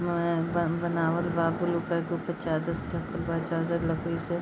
रंग बनावल बा ब्लू कलर की ऊपर चादर से ढकल बा चादर लकड़ी से --